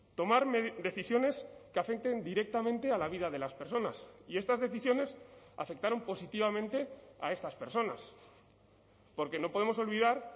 tomar decisiones que afecten directamente a la vida de las personas y estas decisiones afectaron positivamente a estas personas porque no podemos olvidar